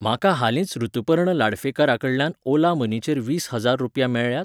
म्हाका हालींच ऋतुपर्ण लाडफेकाराकडल्यान ओला मनीचेर वीस हजार रुपया मेळ्ळ्यात?